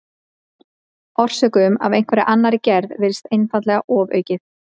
Orsökum af einhverri annarri gerð virðist einfaldlega ofaukið.